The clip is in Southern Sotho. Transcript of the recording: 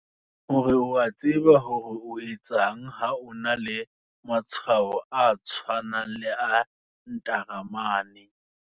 Hore o a tseba hore o etseng ha o na le matshwao a tshwanang le a ntaramane.